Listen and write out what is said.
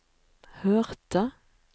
hørte